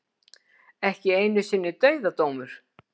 Ekki einu sinni dauðadómur.